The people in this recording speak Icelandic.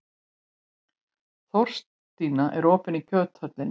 Þórstína, er opið í Kjöthöllinni?